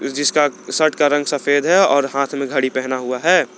जिसका शर्ट का रंग सफेद है और हाथ में घड़ी पहना हुआ है।